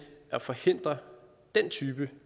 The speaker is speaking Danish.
at forhindre den type